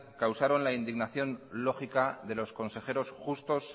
causaron la indignación lógica de los consejeros justos